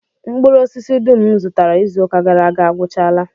Mkpụrụosisi dum m zụtara izuụka gara aga agwụchaala